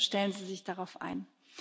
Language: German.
Bitte stellen Sie sich darauf ein.